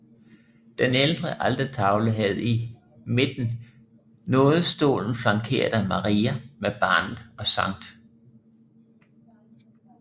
Den ældre altertavle havde i midten nådestolen flankeret af Maria med barnet og Skt